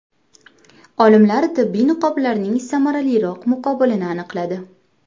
Olimlar tibbiy niqoblarning samaraliroq muqobilini aniqladi.